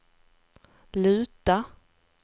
luta